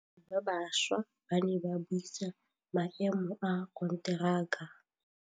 Badiri ba baša ba ne ba buisa maêmô a konteraka.